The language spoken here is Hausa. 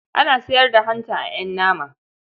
Ana sayar da hanta a ƴan nama.